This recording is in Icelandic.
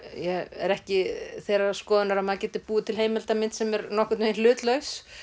er ekki þeirrar skoðunar að maður geti búið til heimildamynd sem er nokkurn veginn hlutlaus